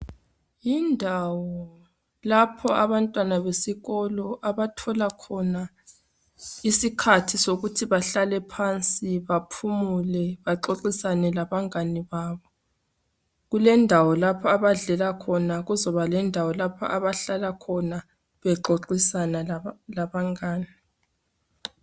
Yindawo lapho abantwana besikolo abathola khona isikhathi sokuthi bahlale phansi baphumule baxoxisane labangane babo, kulendawo lapho abadlela khona kuzoba lendawo lapho abahlala khona bexoxisana labangane.